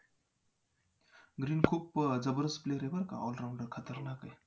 Green खूप जबरदस्त player आहे बरं का all rounder खतरनाक आहे.